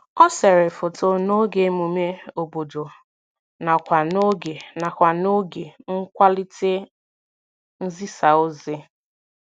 O sere foto n'oge emume obodo nakwa n'oge nakwa n'oge nkwalite nzisaozi